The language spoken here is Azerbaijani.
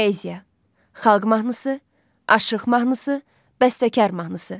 Poeziya, xalq mahnısı, aşıq mahnısı, bəstəkar mahnısı.